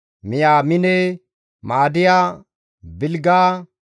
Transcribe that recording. Miyaamine, Ma7adiya, Bilga,